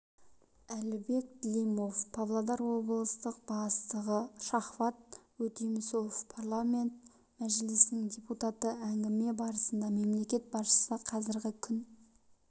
әлібек длимов павлодар облыстық бастығы шавхат өтемісов парламенті мәжілісінің депутаты әңгіме барысында мемлекет басшысы қазіргі күн